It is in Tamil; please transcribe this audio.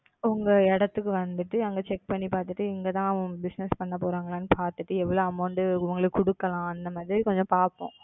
உங்க இடத்துக்கு வந்துட்டு அங்க Check பண்ணி பார்த்துட்டு இங்க தான் அவங்க Bussiness பண்ண போறாங்கலன்னு பாத்துட்டு எவ்வளவு Amount உங்களுக்கு கொடுக்கலாம் அந்த மாதிரி கொஞ்சம் பாப்போம்.